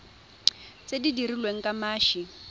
tse di dirilweng ka mashi